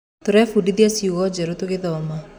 Tũrebundithia ciugo njerũ tũgĩthoma.